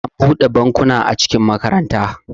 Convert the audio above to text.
an bude bankuna a cikin makaranta